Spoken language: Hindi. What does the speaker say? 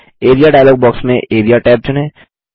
एआरईए डायलॉग बॉक्स में एआरईए टैब चुनें